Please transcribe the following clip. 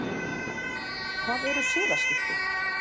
Hvað eru siðaskipti?